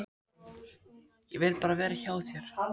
Ég vil bara vera hjá þér.